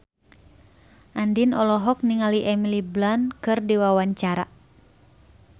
Andien olohok ningali Emily Blunt keur diwawancara